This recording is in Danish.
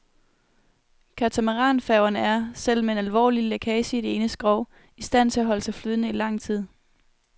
Katamaranfærgerne er, selv med en alvorlig lækage i det ene skrog, i stand til at holde sig flydende i lang tid.